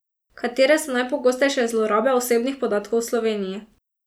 Katere so najpogostejše zlorabe osebnih podatkov v Sloveniji?